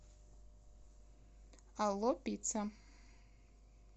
алло пицца